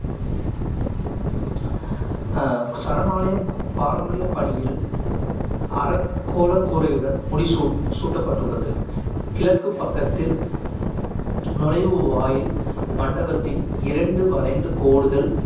அஹ் சரணாலயம் பாரம்பரிய பணியில் அரைக்கோள கூரையுடன் முடிசூ~ சூட்டப்பட்டுள்ளது. கிழக்குப் பக்கத்தில் நுழைவுவாயில் மண்டபத்தின் இரண்டு வளைந்த கோடுகள்